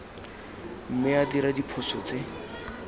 mme a dira diphoso tse